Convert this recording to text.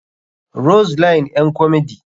rose line ƴan komedi.